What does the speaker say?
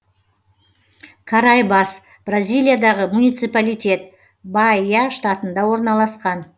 караибас бразилиядағы муниципалитет баия штатында орналасқан